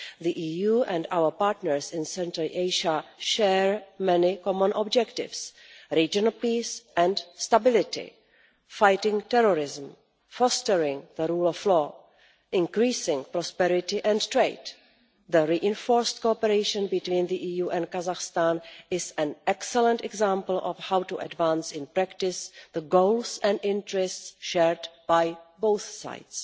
The EU and our partners in Central Asia share many common objectives regional peace and stability, fighting terrorism, fostering the rule of law, increasing prosperity and trade. The reinforced cooperation between the EU and Kazakhstan is an excellent example of how to advance in practice the goals and interests shared by both sides.